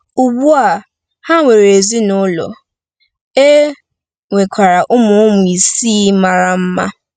Ugbu a, ha nwere ezinụlọ, e nwekwara ụmụ ụmụ isii mara mma.